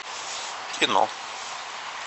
кино